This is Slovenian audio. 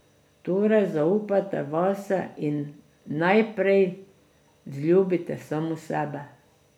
Torej, zaupajte vase in najprej vzljubite sami sebe.